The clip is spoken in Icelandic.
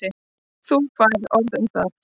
Þú færð orð um það.